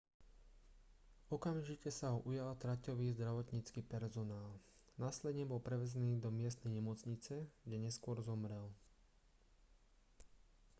okamžite sa ho ujal traťový zdravotnícky personál následne bol prevezený do miestnej nemocnice kde neskôr zomrel